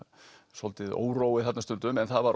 svolítill órói þarna stundum en það var